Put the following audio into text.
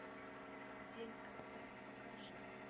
день отца покажи